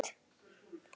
Mynd Rut.